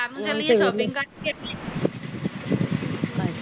ਨੂੰ ਚੱਲੀਏ ਸ਼ੋਪੀਗ ਕਰਨ ਚੱਲੀਏ।